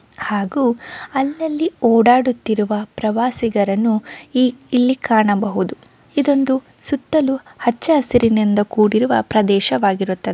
ಹಾಗೂ ಅಲ್ಲಲ್ಲಿ ಓಡಾಡುತ್ತಿರುವ ಪ್ರವಾಸಿಗರನ್ನು ಇ-ಇಲ್ಲಿ ಕಾಣಬಹುದು-- ಇದೊಂದು ಸುತ್ತಲೂ ಹಚ್ಚ ಹಸಿರಿನಿಂದ ಕೂಡಿರುವ ಪ್ರದೇಶವಾಗಿರುತ್ತದೆ.